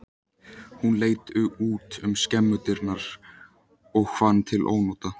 Hún leit út um skemmudyrnar og fann til ónota.